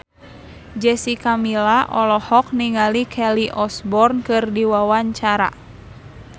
Jessica Milla olohok ningali Kelly Osbourne keur diwawancara